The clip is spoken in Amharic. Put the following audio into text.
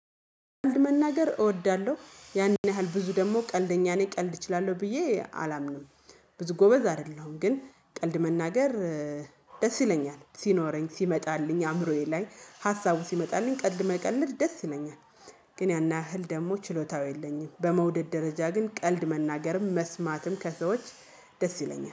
ብዙ መናገር እወዳለሁ ያንን ያህል ብዙ ደግሞ ቀልደኛ ነኝ ቀልድ እችላለሁ ብዬ አላምንም። ብዙ ጎበዝ አይደለሁም ግን ቀልድ መናገር ደስ ይለኛል ሲኖረኝ ሲመጣልኝ አእምሮዬ ላይ ሀሳቡ ሲመጣልኝ ቀልድ መቀለድ ደስ ይለኛል። ግን ያን ያህል ደግሞ ችሎታው የለኝም። በመውደድ ደረጃ ግን ቀልድ መናገርም መስማትም ከሰዎች ደስ ይለኛል